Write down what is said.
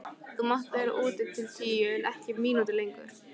Þú mátt vera úti til tíu en ekki mínútu lengur.